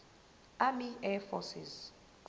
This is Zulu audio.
army air forces